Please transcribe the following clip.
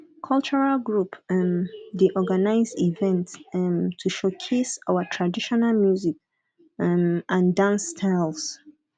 cultural group um dey organize events um to showcase our traditional music um and dance styles